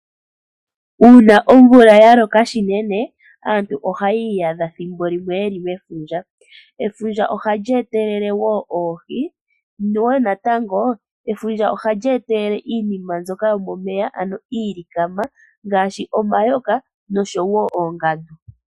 Uuna omvula yaloka shinene, aantu ohayi iyadha thimbo limwe ye li mefundja. Efundja oha li etelele oohi, niinima mbyoka yomomeya ano iilikama, ngaashi omayoka, noshowo oongandu.